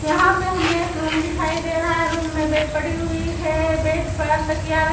यहाँ पे हमें एक रूम दिखाई दे रहा है रूम में बेड पड़ी हुई है बेड पर तकिया --